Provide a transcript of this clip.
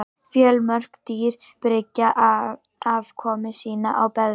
Fjölmörg dýr byggja afkomu sína á beðmi.